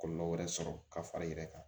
Kɔlɔlɔ wɛrɛ sɔrɔ ka far'i yɛrɛ kan